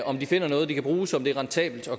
om de finder noget de kan bruge som er rentabelt